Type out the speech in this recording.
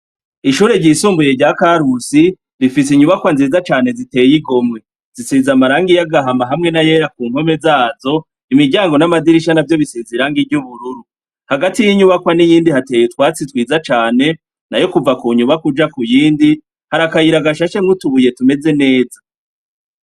Ishure ryisumbuye rya Karusi, rifise inyubakwa nziza cane ziteye igomwe. Zisize amarangi y'agahama hamwe n'ayera ku mpome zazo, imiryango n'amadirisha navyo bisize irangi ry'ubururu. Hagati y'inyubakwa n'iyindi hateye utwatsi twiza cane, nayo kuva ku nyubakwa uja ku yindi, hari akayira gashashemwo utubuye tumeze neza.